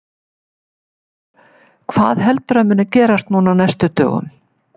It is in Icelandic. Hjörtur: Hvað heldurðu að muni gerast núna á næstu dögum?